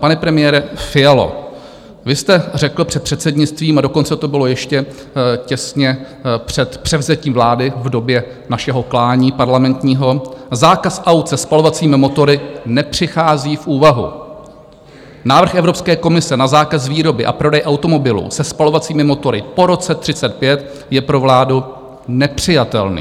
Pane premiére Fialo, vy jste řekl před předsednictvím, a dokonce to bylo ještě těsně před převzetím vlády v době našeho klání parlamentního: "Zákaz aut se spalovacími motory nepřichází v úvahu, návrh Evropské komise na zákaz výroby a prodeje automobilů se spalovacími motory po roce 2035 je pro vládu nepřijatelný."